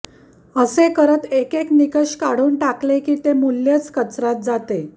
असे करत एक एक निकष काढून टाकले कि ते मूल्यच कचर्यात जाते